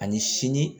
Ani sini